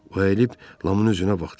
O əyilib Lamın üzünə baxdı.